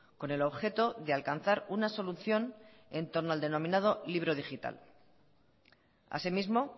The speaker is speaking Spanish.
con el objeto de alcanzar una solución en torno al denominado libro digital asimismo